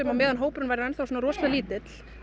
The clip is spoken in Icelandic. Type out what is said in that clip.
á meðan hópurinn væri svona lítill